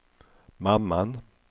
mamman